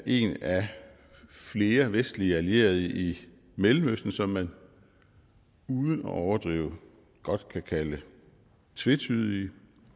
en af flere vestlige allierede i mellemøsten som man uden at overdrive godt kan kalde tvetydige